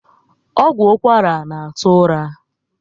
Ọgwụ ụkwara na atụ ụra